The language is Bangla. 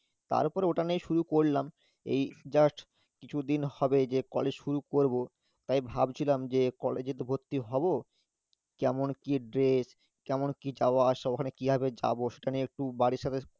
তার উপরে ওটা নিয়েই শুরু করলাম এই just কিছুদিন হবে যে college শুরু করবো তাই ভাবছিলাম যে, college এ তো ভর্তি হবো কেমন কি dress কেমন কি যাওয়া আসা ওখানে কিভাবে যাবো সেটা নিয়ে একটু বাড়ির সবাই